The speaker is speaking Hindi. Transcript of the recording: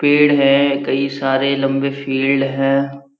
पेड़ है कई सारे लंबे फील्ड है।